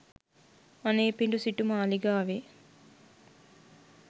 අනේපිඬු සිටු මාලිගාවේ